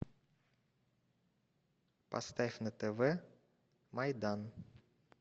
поставь на тв майдан